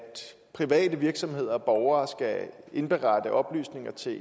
private virksomheder og borgere skal indberette oplysninger til